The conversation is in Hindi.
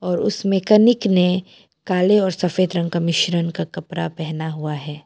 और उस मैकेनिक ने काले और सफेद रंग का मिश्रण का कपरा पहना हुआ है।